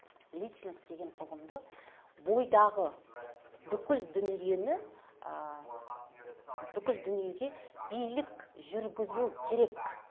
личность деген ұғымды бойдағы бүкіл дүниені ы бүкіл дүниеге билік жүргізу керек